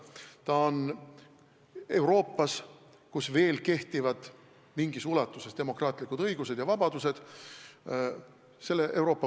Ta on selle Euroopa kodanik, kus veel kehtivad mingis ulatuses demokraatlikud õigused ja vabadused.